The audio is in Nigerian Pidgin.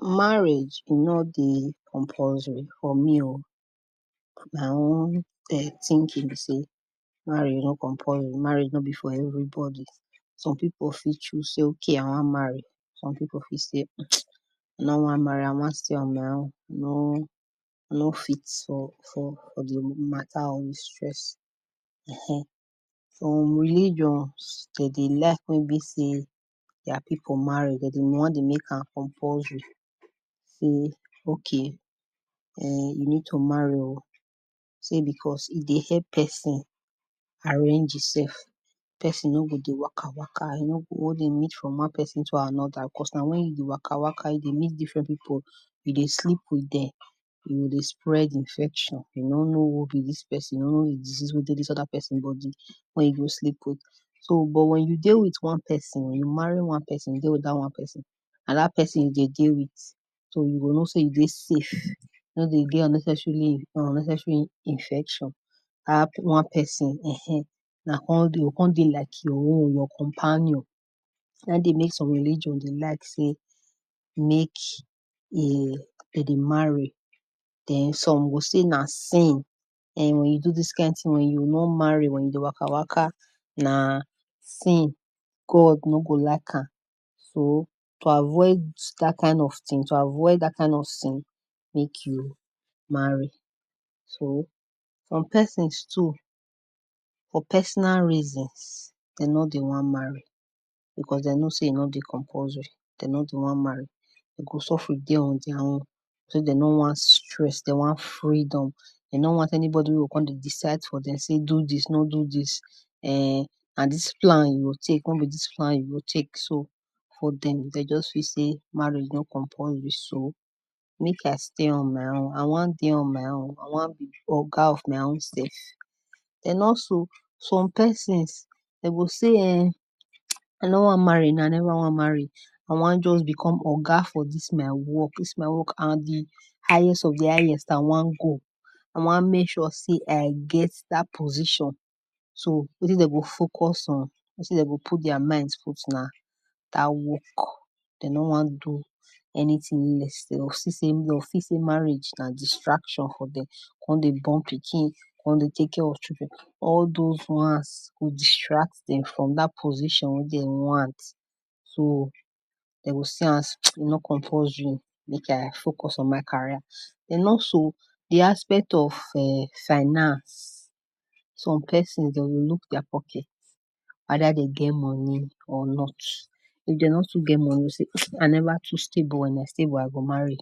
Marriage e nor dey compulsory for me oh, my own um thinking be sey marriage nor compulsory, marriage nor be for everybody, some people fit choose okay I wan marry, some people fit sey I nor wan marry I wan stay on my own, I no I no fit for for for di matter or di stress ehen. Some religions dem dey like make be sey their people marry, dem dey wan dey make am compulsory sey, okay um you need to marry oh, sey because I dey help person arrange im sef, person no go dey waka waka, e no go dey go dey meet from one person to another because na wen you waka waka you dey meet different people, you dey sleep with dem you go dey spread infection, you no know who be dis person, you nor know di disease wey dey dis oda person body wen you go sleep with. So but when you dey with one person, you marry one person dey with dat one person, na dat person you dey dey with so you go know sey you dey safe, you nor dey get unnecessarily unnecessary infection, a pick one person ehen una come dey, e go come dey like your own, your companion, na im dey make some religion dey like sey, make um dem dey marry, den some go sey na sin um when you do dis kind thing, wen you nor marry, wen you dey waka waka na sin, God nor go like am, so to avoid dat kind of thing, to avoid dat kind of sin, make you marry. So some persons too, for personal reasons dem nor dey wan marry, because dem know sey e nor dey compulsory, de nor dey wan marry, dem go sofri dey on their own, sey dem nor want stress, dem want freedom, dem no want anybody wey go come dey decide for dem sey do dis, no do dis um na dis plan you go take, no be dis plan you go take, so for dem dem just feel sey marriage no compulsory, so make I stay on my own, I wan dey on my own, I wan be oga of my own sef. And also some persons, dem go sey um I nor wan marry now, I never wan marry, dem wan just become oga for dis my work, dis my work na di highest of di highest I wan go, I wan make sure sey I get dat position, so wetin dem go focus on, wetin dem go put their mind put na dat work, dem nor wan do anything leave dem go see sey, dem go feel sey marriage na distraction for dem, dem come dey born pikin, come dey take care of children, all doz ones go distract dem from dat position wen dem want, so dem go see am sey e nor compulsory, make I focus on my carrier. Den also di aspect of [urn] finance, some persons dem go look their pocket either dem get money or not, if dem no too get money, dem go say I never too stable, wen I stable I go marry.